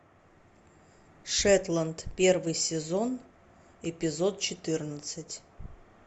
шетланд первый сезон эпизод четырнадцать